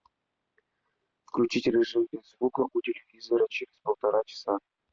включить режим без звука у телевизора через полтора часа